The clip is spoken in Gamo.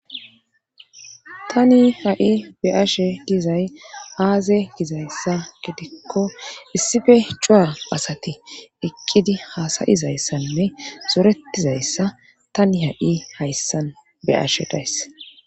tani ha7i be7ashe dizay aaze gizayssa gidikko issife cua asati eqqidi haasayizayssanne zoretizayssa tani ha7i hayssan be ashe days